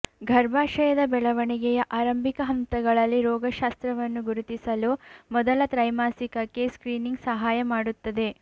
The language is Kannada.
ಗರ್ಭಾಶಯದ ಬೆಳವಣಿಗೆಯ ಆರಂಭಿಕ ಹಂತಗಳಲ್ಲಿ ರೋಗಶಾಸ್ತ್ರವನ್ನು ಗುರುತಿಸಲು ಮೊದಲ ತ್ರೈಮಾಸಿಕಕ್ಕೆ ಸ್ಕ್ರೀನಿಂಗ್ ಸಹಾಯ ಮಾಡುತ್ತದೆ